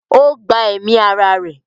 ó gba ẹ̀mí ara rẹ̀.